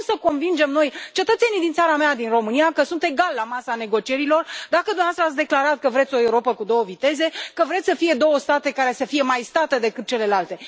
Cum să convingem noi cetățenii din țara mea, din România, că sunt egali la masa negocierilor, dacă dumneavoastră ați declarat că vreți o Europă cu două viteze, că vreți să fie două state care să fie mai state decât celelalte?